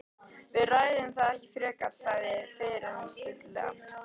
Við ræðum það ekki frekar, sagði fiðlarinn stillilega.